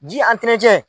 Ji